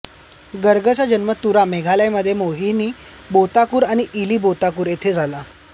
गर्गचा जन्म तुरा मेघालय मध्ये मोहिनी बोर्ताकूर आणि इली बोर्ताकूर येथे झाला